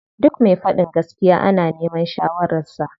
Duk me faɗin gaskiya ana neman shawarar sa.